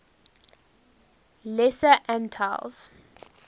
lesser antilles